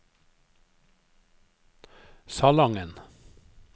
Salangen